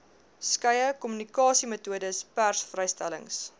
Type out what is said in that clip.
skeie kommunikasiemetodes persvrystellings